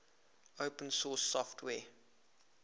open source software